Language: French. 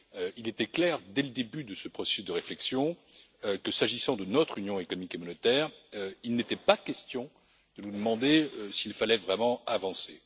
Il était clair, dès le début de ce processus de réflexion, que s'agissant de notre Union économique et monétaire, il n'était pas question de nous demander s'il fallait vraiment avancer.